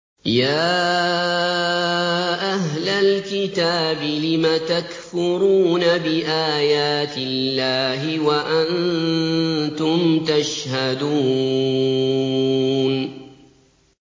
يَا أَهْلَ الْكِتَابِ لِمَ تَكْفُرُونَ بِآيَاتِ اللَّهِ وَأَنتُمْ تَشْهَدُونَ